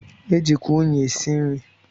E jikwa unyị esi nri.